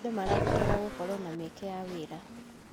Andũ marabatara gũkorwo na mĩeke ya wĩra.